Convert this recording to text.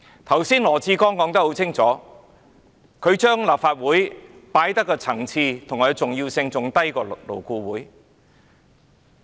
剛才羅致光說得很清楚，他視立法會的層次和重要性比勞工顧問委員會為低。